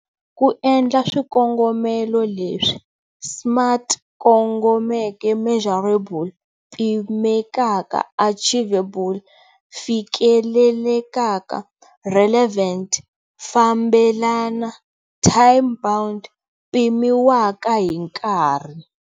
Ku endla swikongomelo leswi- Smart Kongomeke Measurable Pimekaka Achievable Fikelelekaka Relevant Fambelana Time-bound Pimiwaka hi nkarhi.